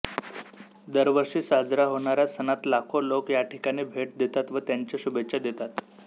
दरवर्षी साजरा होणाऱ्या सणात लाखो लोक याठिकाणी भेट देतात व त्यांच्या शुभेच्छा देतात